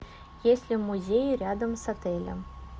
есть ли музеи рядом с отелем